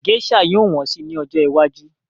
Gésà yóò wọ́n si ní ọjọ́ iwájú